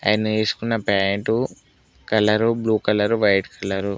ఆయన ఏసుకున్న pant colour blue colour white colour.